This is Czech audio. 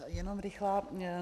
Jenom rychlá.